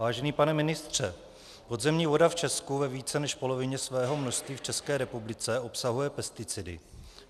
Vážený pane ministře, podzemní voda v Česku ve více než polovině svého množství v České republice obsahuje pesticidy.